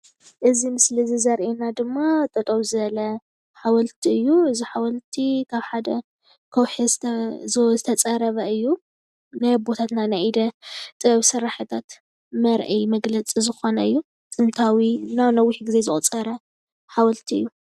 እዙይ ምስሊ ዘርእየና ድማ ጠጠው ዝበለ ሓወልቲ እዩ። እዙይ ሓወልቲ ካብ ሓደ ከውሒ ዝተፀረበ እዩ። ናይ ኣቦታትና ናይ ኢደ ጥበብ ስራሕታት መርአይ መግለፂ ዝኮነ እዩ። ጥንታዊና ነዊሕ ግዜ ዘቁፀረ ሓወልቲ እዩ።